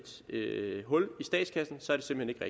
hul i statskassen så er det simpelt